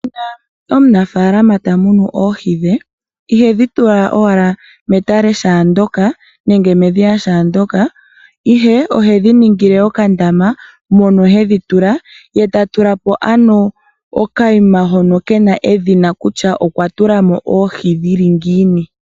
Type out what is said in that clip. Omunafaalama ta munu oohi dhe ihedhi tula owala metale shaa ndoka nenge medhiya shaa ndoka. Ihe ohedhi ningile okandama mono hedhi tula ye tatula po ano okanima hono kena edhina kutya okwa tula mo oohi dhili ngiini.